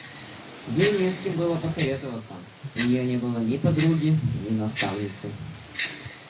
ей не с кем было посоветоваться у нее не было ни подруги ни наставницы